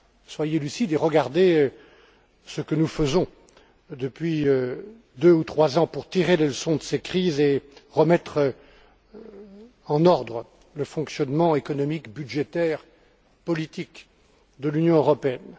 Soyez lucides et regardez ce que nous faisons depuis deux ou trois ans pour tirer les leçons de ces crises et remettre en ordre le fonctionnement économique, budgétaire, politique de l'Union européenne.